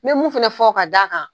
Me mun fɛnɛ fɔ ka da a kan.